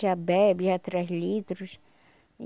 Já bebe, já traz litros.